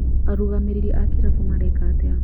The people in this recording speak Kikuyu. Arũgamĩreri a kĩrabu mareka atĩa?